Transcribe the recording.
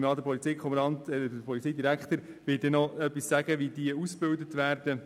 Ich gehe davon aus, der Polizeidirektor noch ausführen wird, wie diese ausgebildet werden.